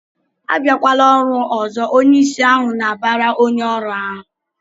"Abịakwala ọrụ ọzọ!" Onyeisi ahụ na-abara onye ọrụ ahụ